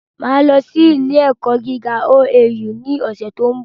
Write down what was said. Máà lọ sí ilé ẹ̀kọ́ gíga OAU ní ọ̀sẹ̀ tó ń bò